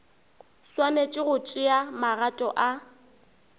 swanetše go tšea magato a